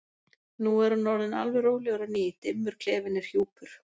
Nú er hann orðinn alveg rólegur á ný, dimmur klefinn er hjúpur.